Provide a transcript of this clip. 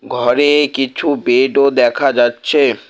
ঘরে কিছু বেডও দেখা যাচ্ছে।